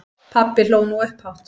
Pabbi hló nú upphátt.